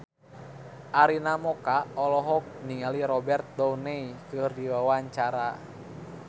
Arina Mocca olohok ningali Robert Downey keur diwawancara